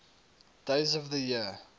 days of the year